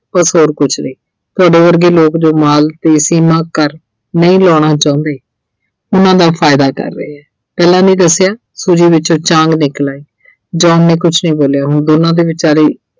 ਬੱਸ ਹੋਰ ਕੁਝ ਨਹੀਂ। ਤੁਹਾਡੇ ਵਰਗੇ ਲੋਕ ਜੋ ਮਾਲ ਕਰ ਨਹੀਂ ਲਾਉਣਾ ਚਾਹੁੰਦੇ ਉਹਨਾਂ ਦਾ ਫਾਇਦਾ ਕਰ ਰਹੇ ਐ। ਪਹਿਲਾਂ ਨੀਂ ਸਿਆ Suji ਵਿੱਚੋਂ ਚਾਂਗ ਨਿਕਲ ਆਈ John ਨੇ ਕੁੱਝ ਨਹੀਂ ਬੋਲਿਆ ਹੁਣ ਦੋਨ੍ਹਾਂ ਦੇ ਵਿਚਾਲੇ